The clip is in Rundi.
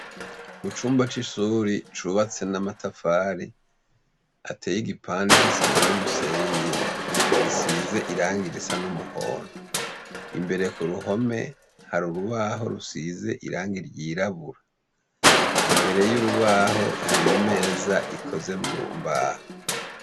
Inzu nziza yubatse n'amatafara ahiye igaziye n'isima umuryango w'umweru ukozwe mu cuma ofisi ibice bibiri igice kimwe gipfunguye imbere hariy intebe n'imeza ku ruhande rwo hirya ubona ko hasize irangi ry'ubururu.